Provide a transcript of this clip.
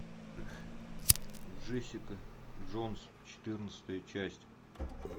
джессика джонс четырнадцатая часть